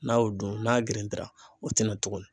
N'a y'o dun n'a girintira o tɛna tugunni.